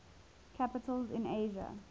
capitals in asia